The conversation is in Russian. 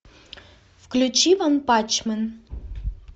включи ванпанчмен